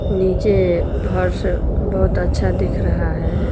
नीचे फर्श बहुत अच्छा दिख रहा है।